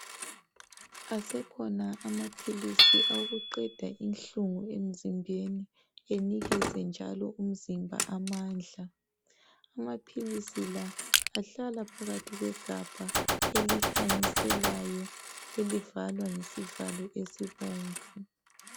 Asekhona amaphilisi aqokuqeda inhlungu emzimbeni enikeze njalo umzimba amandla. Amaphilisi la ahlala phakathi kwegabha elikhanyiselayo, elivalwa ngesivalo esibomvu.